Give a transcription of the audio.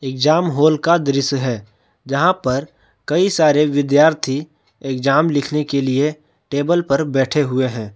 Exam hall का दृश्य है। जहाँ पर कई सारे विद्यार्थी एग्जाम लिखने के लिए टेबल पर बैठे हुए है।